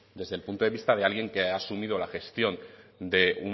desde el punto de vista de alguien que ha asumido la gestión de